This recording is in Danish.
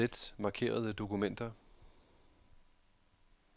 Slet markerede dokumenter.